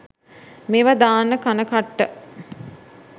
මේවා දාන්න කන කට්ට